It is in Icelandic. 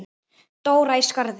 Dóra í Skarði.